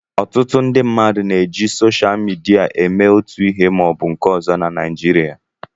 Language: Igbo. Ọtụtụ ndị mmadụ na-eji soshal midia eme otu ihe ma ọ bụ nke ọzọ na Nịjịrịa.